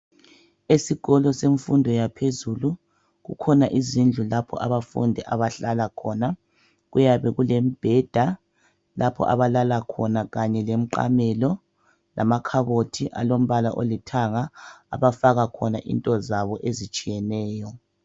Isikolo semfundo yaphezulu kukhona izindlu lapho abafundi abahlala khona kuyabe kulemibheda lapho abalala khona lemiqamela Lamakhabothi alombala olithanga abafaka khona into zabo ezitshiyeneyo